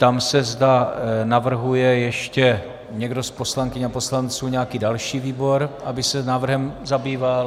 Ptám se, zda navrhuje ještě někdo z poslankyň a poslanců nějaký další výbor, aby se návrhem zabýval.